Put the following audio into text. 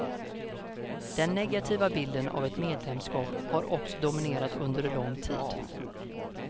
Den negativa bilden av ett medlemskap har också dominerat under lång tid.